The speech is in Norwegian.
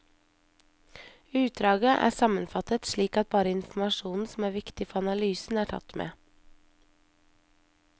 Utdraget er sammenfattet, slik at bare informasjonen som er viktig for analysen, er tatt med.